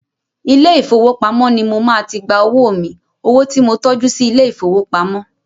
Ilé ìfowópamọ́ ni mo máa ti gba owó mi, owo tí mo tọ́jú sí ilé ìfowópamọ́.